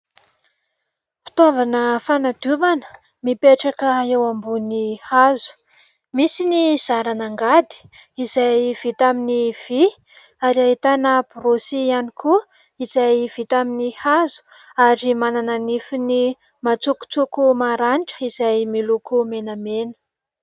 Fitaovana fanadiovana mipetraka eo ambony hazo. Misy ny zaran'angady izay vita amin'ny vy ary ahitana borosy ihany koa izay vita amin'ny hazo ary manana nifiny matsokotsoko maranitra izay miloko menamena.